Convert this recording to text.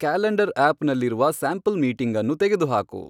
calendar app ನಲ್ಲಿರುವ sample meeting ಅನ್ನು ತೆಗೆದುಹಾಕು